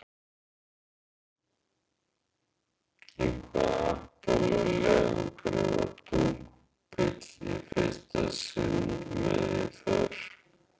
Í hvaða Apollo-leiðangri var tunglbíll í fyrsta sinn með í för?